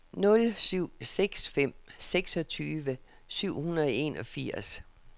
nul syv seks fem seksogtyve syv hundrede og enogfirs